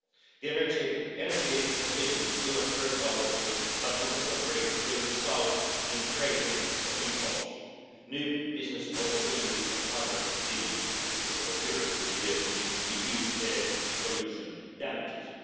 The energy transition will not hurt our economy but, on the contrary, will result in the creation of new jobs, new business opportunities and hundreds of billions of euros per year in reduced air pollution damages.